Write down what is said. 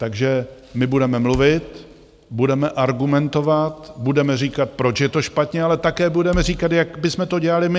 Takže my budeme mluvit, budeme argumentovat, budeme říkat, proč je to špatně, ale také budeme říkat, jak bychom to dělali my.